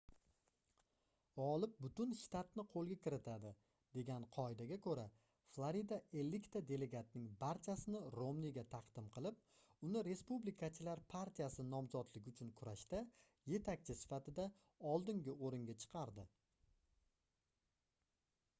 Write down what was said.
gʻolib butun shtatni qoʻlga kiritadi degan qoidaga koʻra florida ellikta delegatning barchasini romniga taqdim qilib uni respublikachilar partiyasi nomzodligi uchun kurashda yetakchi sifatida oldingi oʻringa chiqardi